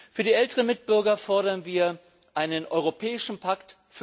Für die älteren Mitbürger fordern wir einen Europäischen Pakt